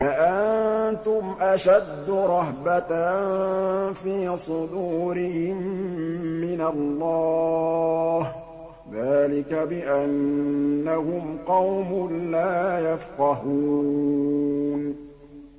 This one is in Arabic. لَأَنتُمْ أَشَدُّ رَهْبَةً فِي صُدُورِهِم مِّنَ اللَّهِ ۚ ذَٰلِكَ بِأَنَّهُمْ قَوْمٌ لَّا يَفْقَهُونَ